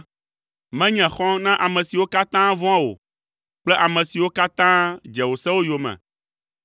Menye xɔ̃ na ame siwo katã vɔ̃a wò kple ame siwo katã dze wò sewo yome.